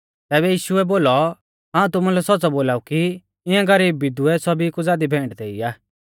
तैबै यीशुऐ बोलौ हाऊं तुमुलै सौच़्च़ौ बोलाऊ कि इऐं गरीब विधवै सौभी कु ज़ादी भेंट देई आ